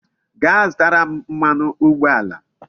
Gaa zụtara m mmanụ ụgbọala